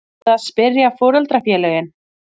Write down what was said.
Er búið að spyrja foreldrafélögin?